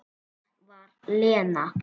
Það var Lena.